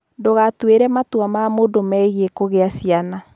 Ndũgatuĩre matua ma mũndũ megiĩ kũgĩa ciana.